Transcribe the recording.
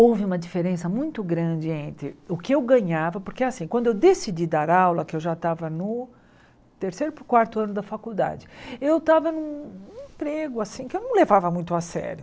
Houve uma diferença muito grande entre o que eu ganhava, porque assim quando eu decidi dar aula, que eu já estava no terceiro para o quarto ano da faculdade, eu estava em um emprego assim que eu não levava muito a sério.